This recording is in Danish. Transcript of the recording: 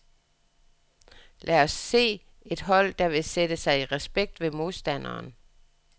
Lad os se et hold, der vil sætte sig i respekt ved modstanderen.